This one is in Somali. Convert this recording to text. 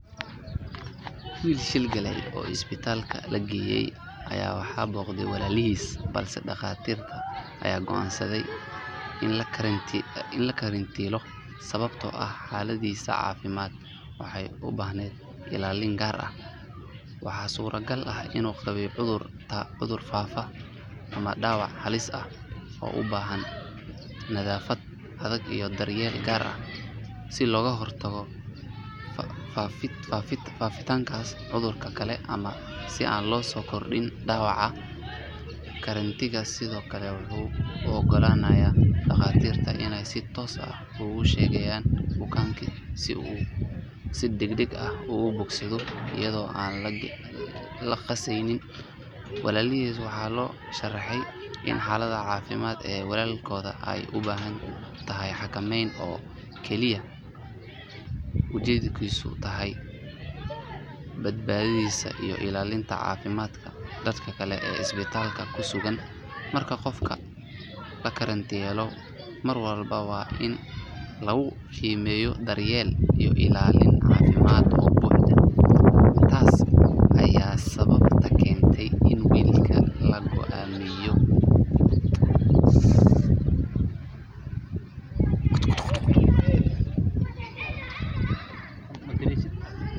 Wiil shil galay oo isbitaalka la geeyay ayaa waxaa booqday walaalihiis balse dhaqaatiirta ayaa go’aansaday in la karantiilo sababtoo ah xaaladdiisa caafimaad waxay u baahnayd ilaalin gaar ah. Waxaa suuragal ah inuu qabay cudur faafa ama dhaawac halis ah oo u baahan nadaafad adag iyo daryeel gaar ah si looga hortago faafitaanka cudurada kale ama si aan loo sii kordhin dhaawaca. Karantiilka sidoo kale wuxuu u ogolaanayaa dhaqaatiirta inay si toos ah ugu shaqeeyaan bukaanka si uu si degdeg ah ugu bogsado iyadoo aan la qasaynin. Walaalihiis waxaa loo sharaxay in xaaladda caafimaad ee wiilka ay u baahan tahay xakameyn oo keliya ujeeddadeedu tahay badbaadadiisa iyo ilaalinta caafimaadka dadka kale ee isbitaalka ku sugan. Marka qofka la karantiilo, mar walba waa in lagu qiimeeyaa daryeel iyo ilaalin caafimaad oo buuxda. Taas ayaa sababta keentay in wiilka la go'doomiyo.